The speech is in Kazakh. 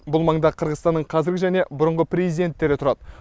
бұл маңда қырғызстанның қазіргі және бұрынғы президенттері тұрады